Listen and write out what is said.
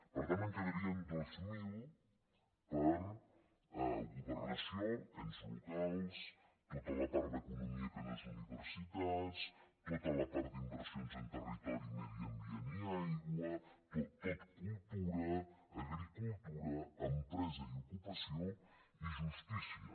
per tant en quedarien dos mil per a governació ens locals tota la part d’economia que no és universitats tota la part d’inversions en territori medi ambient i aigua tot cultura agricultura empresa i ocupació i justícia